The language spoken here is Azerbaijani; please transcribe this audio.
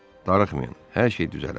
Darıxmayın, hər şey düzələr.